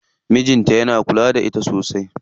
Mijin ta yana kula da ita sosai.